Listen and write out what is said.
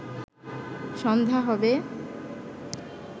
সন্ধ্যা হবে